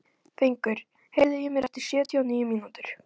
Fengur, heyrðu í mér eftir sjötíu og níu mínútur.